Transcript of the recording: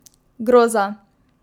Groza!